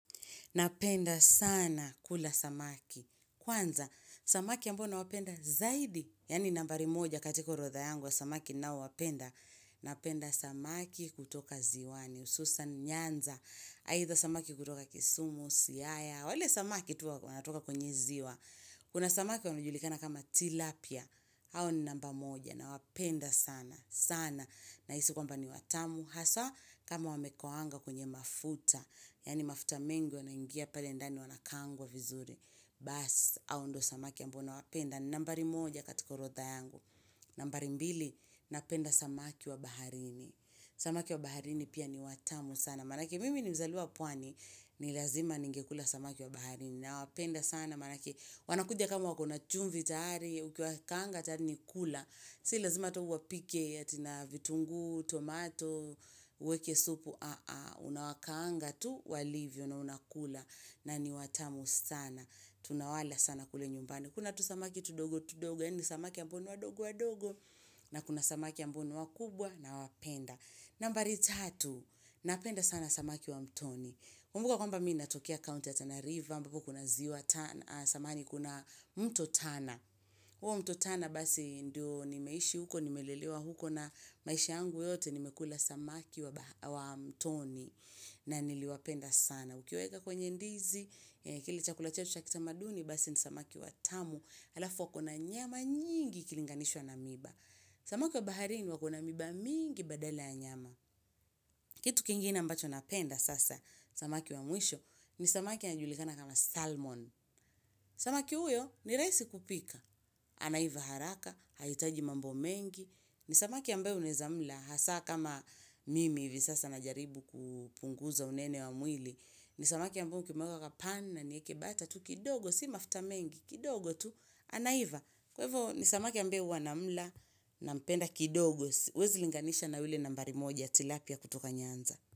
Napenda sana kula samaki. Kwanza, samaki ambayo ninayopenda zaidi yaani nambari moja katika orodha yangu ya samaki ninaowapenda Napenda samaki kutoka ziwani hususan Nyanza. Aidha samaki kutoka kisumu, Siaya. Wale samaki tu wanatoka kwenye ziwa. Kuna samaki wanajulikana kama tilapia. Hao ni namba moja, nawapenda sana, sana. Nahisi kwamba ni watamu. Hasa kama wamekaangwa kwenye mafuta. Yani mafuta mengi, wanaingia pale ndani wanakaangwa vizuri Bas, hao ndio samaki amboa wanapenda. Nambari moja katika orodha yangu nambari mbili, napenda samaki wa baharini Samaki wa baharini pia ni watamu sana maanake mimi ni mzaliwa pwani ni lazima ningekula samaki wa baharini. Nawapenda sana maanake wanakuja kama wakona chumvi tayari, ukiwakaanga tayari ni kula si lazima hata uwapike ati na vitunguu, tomatoo uwekee supu, unawakaanga tu walivyo na unakula na ni watamu sana tunawala sana kule nyumbani kuna tusamaki tudogo tudogo yaani samaki ambao ni wadogo wadogo na kuna samaki ambao ni wakubwa nawapenda nambari tatu, napenda sana samaki wa mtoni kumbuka kwamba mimi ninatokea counti ya Tana River ambapo kuna mto Tana huo mto tana basi ndio nimeishi huko, nimelelewa huko na maisha yangu yote nimekula samaki wa mtoni na niliwapenda sana. Ukiwaeka kwenye ndizi, kile chakula chetu cha kitamaduni basi ni samaki watamu alafu wakona nyama nyingi ikilinganishwa na miiba samaki wa baharini wakona miiba mingi badala ya nyama Kitu kingine ambacho napenda sasa ni samaki wa mwisho ni samaki anajulikana kama salmon samaki huyo ni rahisi kupika anaiva haraka, hahitaji mambo mengi Samaki ambaye unaweza mla hasa kama mimi hivi sasa najaribu kupunguza unene wa mwili ni samaki ambao ukimweka kwa pani na nieke butter tu kidogo, si mafuta mengi, kidogo tu, anaiva. Kwa ivo ni samaki ambaye huwa na mla nampenda kidogo huwezi linganisha na yule nambari moja, tilapia kutoka Nyanza.